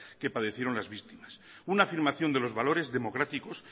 que padecieron las víctimas una afirmación de los valores democráticos